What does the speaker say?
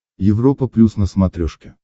европа плюс на смотрешке